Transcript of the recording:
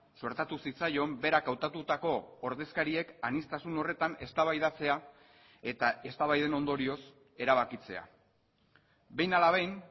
suertatu zitzaion berak hautatutako ordezkariek aniztasun horretan eztabaidatzea eta eztabaiden ondorioz erabakitzea behin ala behin